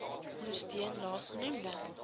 ondersteun laas genoemde